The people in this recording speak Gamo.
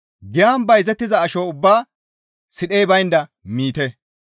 Giyan bayzettiza asho ubbaa sidhey baynda miite.